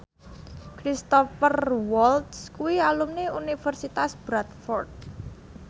Cristhoper Waltz kuwi alumni Universitas Bradford